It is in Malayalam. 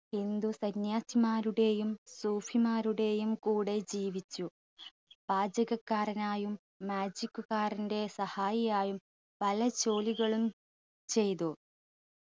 ഹിന്ദു സന്യാസിമാരുടെയും സൂഫിമാരുടെയും കൂടെ ജീവിച്ചു പാചകക്കാരനായും magic കാരന്റെ സഹായിയായും പല ജോലികളും ചെയ്തു